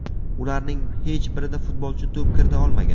Ularning hech birida futbolchi to‘p kirita olmagan.